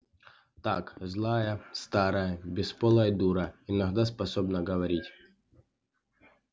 так злая старая бесполая дура иногда способна говорить